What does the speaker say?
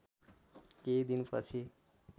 केही दिन पछि